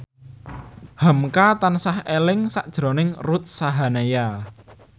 hamka tansah eling sakjroning Ruth Sahanaya